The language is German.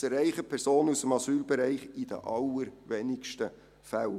Dies erreichen Personen aus dem Asylbereich in den allerwenigsten Fällen.